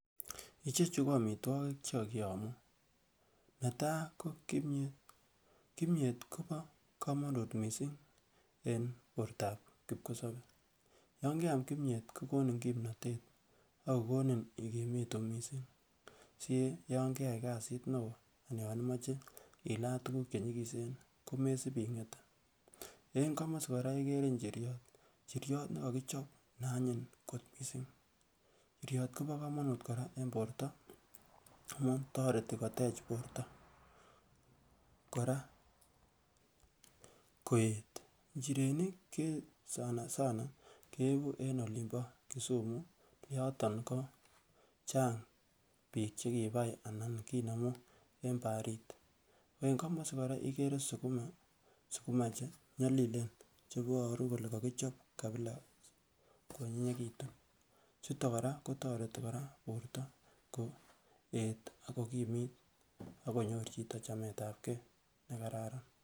Ichechu ko omitwokik che kokiyomo netaa ko kimyet, kimyet kobo komonut missing en bortab kikosobee yon keam kimyet kokonin kimnotet agogonin ikimitu missing si yan keyay kazit ne oo anan yon imoche ilaa tugug che nyigisen ko mesip ingetee. En komosii koraa igere ichiryot ne kokichob ne anyiny kot missing. Chiryot kobo komonut koraa en borto amun toreteii kotech borto koraa koet, ichirenik sana sana keibu en olimbo Kisumu yoton ko chang biik che kibai ana kinemu en baharit. En komosii koraa igere sukuma che nyolilen cheboruu kole kokichob kabilaa kwonyinyekitun chuton koraa kotoretii borto koeet ak kokimit ak konyor chito chamet ab gee nekararan